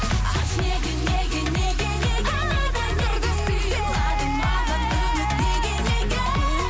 айтшы неге неге неге неге неге неге сыйладың маған үміт неге неге